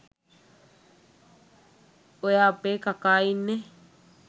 ඔය අපේ කකා ඉන්නේ